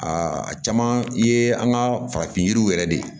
a caman ye an ka farafin yiriw yɛrɛ de ye